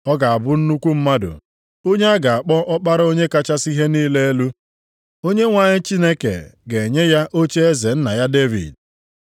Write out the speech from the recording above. Ọ ga-abụ nnukwu mmadụ onye a ga-akpọ Ọkpara Onye kachasị ihe niile elu. Onyenwe anyị Chineke ga-enye ya ocheeze nna ya Devid.